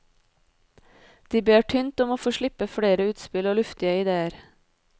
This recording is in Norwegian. De ber tynt om å få slippe flere utspill og luftige idéer.